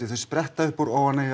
þau spretta upp úr óánægju